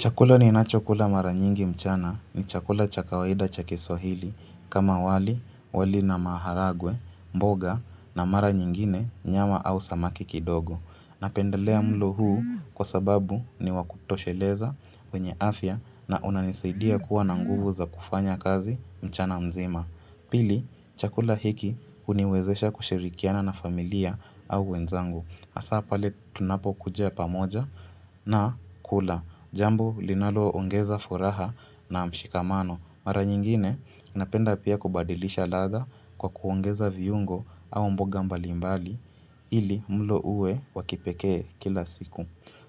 Chakula ni nacho kula mara nyingi mchana ni chakula cha kawaida cha kiswahili kama wali, wali na maharagwe, mboga na mara nyingine nyama au samaki kidogo. Napendelea mlo huu kwa sababu ni wakutosheleza, wenye afya na unanisaidia kuwa na nguvu za kufanya kazi mchana mzima. Pili, chakula hiki uniwezesha kushirikiana na familia au wenzangu. Hasa pale tunapokuja pamoja na kula. Jambu linalo ongeza furaha na mshikamano. Mara nyingine napenda pia kubadilisha latha kwa kuongeza viungo au mboga mbalimbali ili mlo uwe wakipekee kila siku.